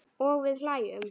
Og við hlæjum.